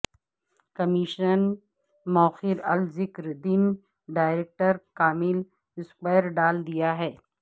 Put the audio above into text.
commission موخر الذکر دن ڈائریکٹر کامل سکور ڈال دیا ہے